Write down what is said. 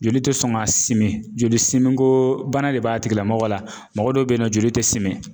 Joli tɛ sɔn ka simin joli simi ko bana de b'a tigi lamɔgɔ la mɔgɔ dɔw be yen nɔ joli tɛ simi.